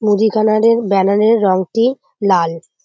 মুদিখানারের banner এর রংটি লাল।